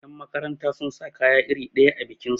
yanmakaranta sun sa kaya iri ɗaya a bikinsu